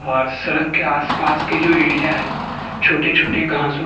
और सड़क के आसपास के जो एरिया है छोटे छोटे घासों --